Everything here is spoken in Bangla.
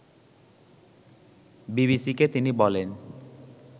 বিবিসিকে তিনি বলেন